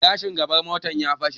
gilashin gaban motar ya fashe